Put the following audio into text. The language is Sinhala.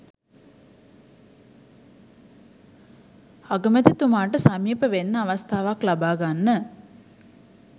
අගැමැතිතුමාට සමීප වෙන්න අවස්ථාවක් ලබා ගන්න.